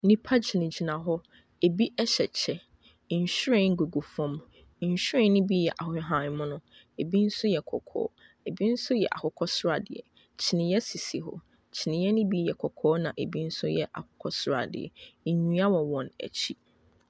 Nnipa gyinagyina hɔ. Ebi hyɛ kyɛ. Nhwiren gugu fam. Nhwiren no bi yɛ ahahan mono. Ebi nso yɛ kɔkɔɔ, ebi nso yɛ akokɔ sradeɛ. Kyiniiɛ sisi hɔ, kyiniiɛ no bi yɛ kɔkɔɔ na ebi nso yɛ akokɔ sradeɛ. Nnua wɔ wɔn akyi.